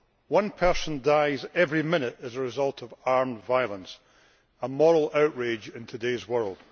One person dies every minute as a result of armed violence, which is a moral outrage in today's world.